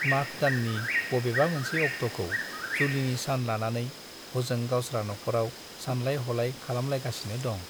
माघ दाननि बबेबा मोनसे अक्ट'खौ जुलिनि सान लानानै हजों गावस्रा न'खराव सानलाय ह'लाय खालामलायगासिनो दं ।